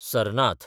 Sarnath